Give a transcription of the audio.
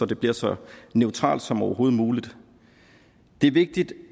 det bliver så neutralt som overhovedet muligt det er vigtigt